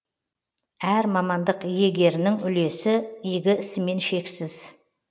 әр мамандық иегеріның үлесі игі ісімен шексіз